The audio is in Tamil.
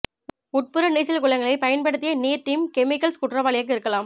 உட்புற நீச்சல் குளங்களைப் பயன்படுத்திய நீர் டீம் கெமிக்கல்ஸ் குற்றவாளியாக இருக்கலாம்